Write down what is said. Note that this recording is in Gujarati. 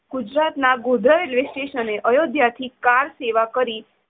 ગુજરાતનાં ગોધરા રેલ્વે સ્ટેશને અયોધ્યાથી કાર સેવા કરી